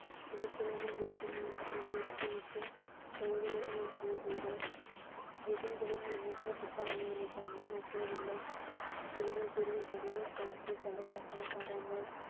துணிச்சலான வேகமான திறமையற்ற மற்றும் தொலைதூர ஒரு போர் வீரர் எதிரிகளின் எண்ணற்ற துப்பாக்கிகளை கண்டு மசியவில்லை இவ்வளவு பெரிய படையைப் பார்த்து பல சம்பளக்காரர்கள்